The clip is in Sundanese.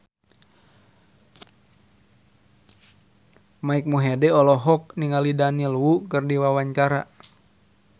Mike Mohede olohok ningali Daniel Wu keur diwawancara